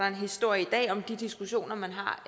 en historie om de diskussioner